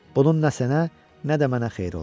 Bunun nə sənə, nə də mənə xeyri oldu.